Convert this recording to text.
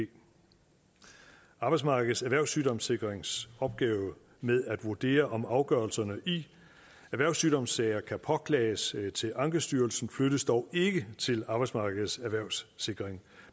arbejdsmarkedets erhvervssygdomssikrings opgave med at vurdere om afgørelserne i erhvervssygdomssager kan påklages til ankestyrelsen flyttes dog ikke til arbejdsmarkedets erhvervssikring